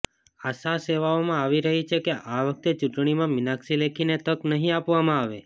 આશા સેવવામાં આવી રહી છે કે આ વખતે ચૂંટણીમાં મીનાક્ષી લેખીને તક નહીં આપવામાં આવે